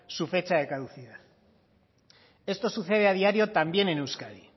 su fecha de caducidad esto sucede a diario también en euskadi